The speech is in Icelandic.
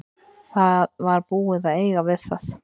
Það var búið að eiga við það.